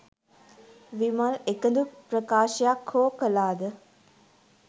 විමල් එකදු ප්‍රකාශයක් හෝ කලාද?